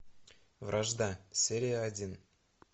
вражда серия один